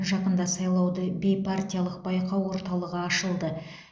жақында сайлауды бейпартиялық байқау орталығы ашылды